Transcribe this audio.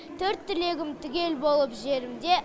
төрт түлегім түгел болып жерімде